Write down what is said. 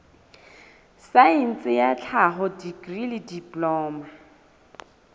saense ya tlhaho dikri diploma